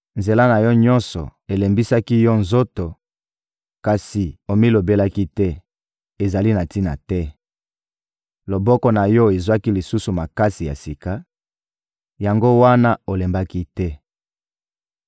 Nzela na yo nyonso elembisaki yo nzoto, kasi omilobelaki te: ‹Ezali na tina te!› Loboko na yo ezwaki lisusu makasi ya sika, yango wana olembaki te.